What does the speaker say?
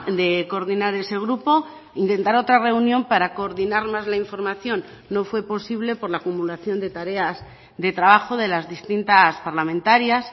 de coordinar ese grupo intentar otra reunión para coordinar más la información no fue posible por la acumulación de tareas de trabajo de las distintas parlamentarias